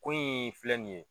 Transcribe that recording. Ko in filɛ nin ye